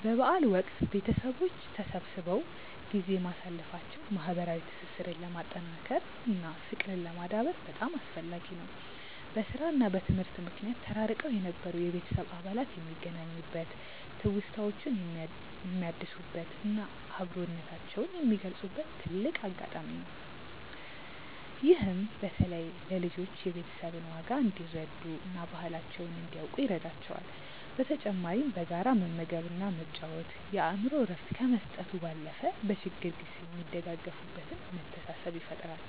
በበዓል ወቅት ቤተሰቦች ተሰብስበው ጊዜ ማሳለፋቸው ማህበራዊ ትስስርን ለማጠናከር እና ፍቅርን ለማዳበር በጣም አስፈላጊ ነው። በስራ እና በትምህርት ምክንያት ተራርቀው የነበሩ የቤተሰብ አባላት የሚገናኙበት፣ ትውስታዎችን የሚያድሱበት እና አብሮነታቸውን የሚገልጹበት ትልቅ አጋጣሚ ነው። ይህም በተለይ ለልጆች የቤተሰብን ዋጋ እንዲረዱ እና ባህላቸውን እንዲያውቁ ይረዳቸዋል። በተጨማሪም በጋራ መመገብ እና መጫወት የአእምሮ እረፍት ከመስጠቱ ባለፈ፣ በችግር ጊዜ የሚደጋገፉበትን መተሳሰብ ይፈጥራል።